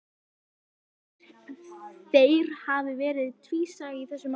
Hjörtur: Finnst þér þeir hafi verið tvísaga í þessu máli?